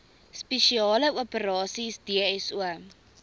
spesiale operasies dso